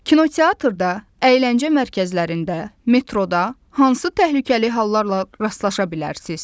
Kinoteatrda, əyləncə mərkəzlərində, metroda hansı təhlükəli hallarla rastlaşa bilərsiz?